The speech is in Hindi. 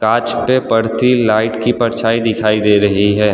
कांच पे पड़ती लाइट की परछाई दिखाई दे रही हैं।